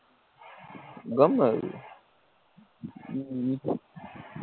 ગમેઇ હમ